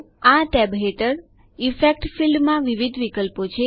આ ટેબ હેઠળ effects field ક્ષેત્રમાં વિવિધ વિકલ્પો છે